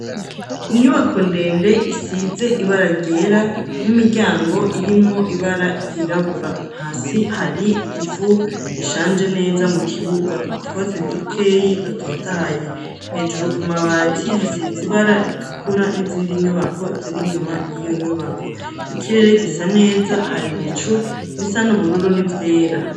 Inyubako ndende, isize ibara ryera, n'imiryango irimwo ibara ryirabura; hasi hari ivu, rishanje neza mu kibuga; utwatsi dukeyi dototahaye, hejuru ku mabati, hasize ibara ritukura n'izindi nyubako ziri inyuma y'iyo nyubako; ikirere gisa neza, hari ibicu bisa n'ubururu n'ivyera.